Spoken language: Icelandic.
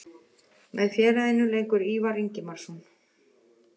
Með félaginu leikur Ívar Ingimarsson.